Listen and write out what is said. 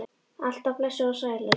Alt af blessuð og sæl, elskan!